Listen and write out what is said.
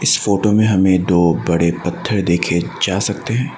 इस फोटो में हमें दो बड़े पत्थर देखे जा सकते हैं।